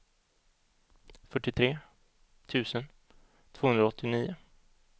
fyrtiotre tusen tvåhundraåttionio